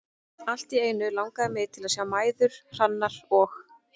Allt í einu langaði mig til að sjá mæður Hrannar og